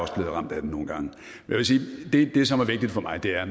ramt af det nogle gange jeg vil sige at det som er vigtigt for mig er